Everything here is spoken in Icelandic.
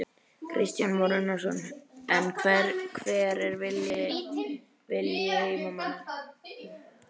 Kristján Már Unnarsson: En hver er vilji heimamanna?